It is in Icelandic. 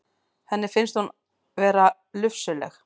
Henni finnst hún vera lufsuleg.